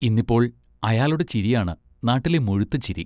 ഇന്നിപ്പോൾ അയാളുടെ ചിരിയാണ് നാട്ടിലെ മുഴുത്ത ചിരി.